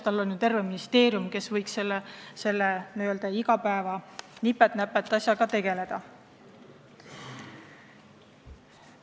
Tal on ju terve ministeerium, kes võiks igapäeva nipet-näpet asjadega tegeleda.